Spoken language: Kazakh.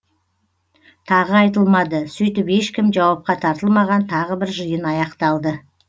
тағы айтылмады сөйтіп ешкім жауапқа тартылмаған тағы бір жиын аяқталды